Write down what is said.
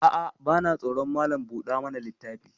A'a, vana tsoron Malam buɗa mana littafi.